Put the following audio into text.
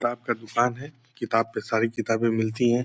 किताब का दुकान है। किताब पे सारी किताबें मिलती है।